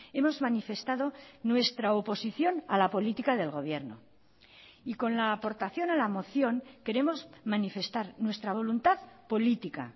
hemos manifestado nuestra oposición a la política del gobierno y con la aportación a la moción queremos manifestar nuestra voluntad política